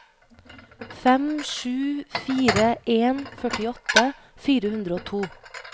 fem sju fire en førtiåtte fire hundre og to